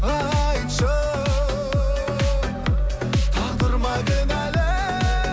айтшы тағдыр ма кінәлі